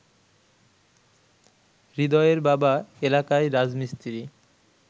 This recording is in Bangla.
হৃদয়ের বাবা এলাকায় রাজমিস্ত্রি